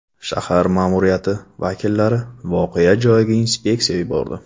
Shahar ma’muriyati vakillari voqea joyiga inspeksiya yubordi.